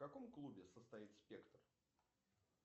в каком клубе состоит спектр